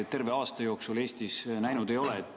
Terve aasta jooksul me Eestis midagi sellist näinud ei ole.